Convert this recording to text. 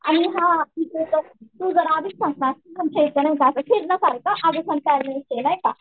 आणि हां तू जर आलीस ना आमच्या इथं नाही का फिरण्यासारखं आहे नाही का.